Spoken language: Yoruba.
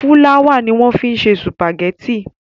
Fúláwà ni wọ́n fi ń ṣe sùpàgẹ́tì.